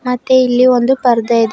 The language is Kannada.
ಮತ್ತೆ ಇಲ್ಲಿ ಒಂದು ಪರ್ದೆ ಇದೆ.